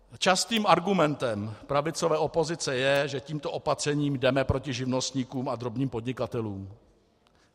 Častým argumentem pravicové opozice je, že tímto opatřením jdeme proti živnostníkům a drobným podnikatelům.